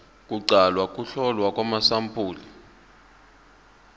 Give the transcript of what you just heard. kuqala ukuhlolwa kwamasampuli